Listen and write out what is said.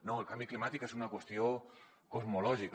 no el canvi climàtic és una qüestió cosmològica